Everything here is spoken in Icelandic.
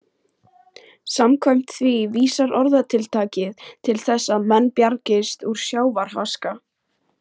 Samkvæmt því vísar orðtakið til þess að menn bjargist úr sjávarháska.